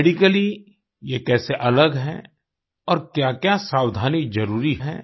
medically ये कैसे अलग है और क्याक्या सावधानी जरूरी है